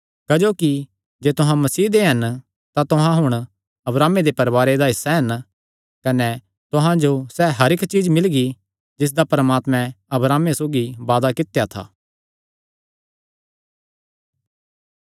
क्जोकि जे तुहां मसीह दे हन तां तुहां हुण अब्राहमे दे परवारे दा हिस्सा हन कने तुहां जो सैह़ हर इक्क चीज्ज मिलगी जिसदा परमात्मैं अब्राहमे सौगी वादा कित्या था